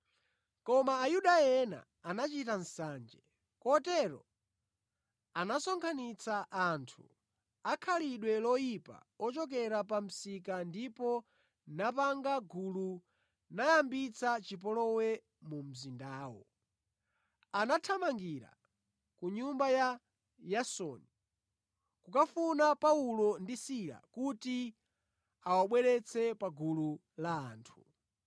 Koma Ayuda ena anachita nsanje; kotero anasonkhanitsa anthu akhalidwe loyipa ochokera pa msika ndipo napanga gulu nayambitsa chipolowe mu mzindawo. Anathamangira ku nyumba ya Yasoni kukafuna Paulo ndi Sila kuti awabweretse pa gulu la anthu.